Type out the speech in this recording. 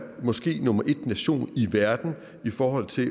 måske nummer et nation i verden i forhold til at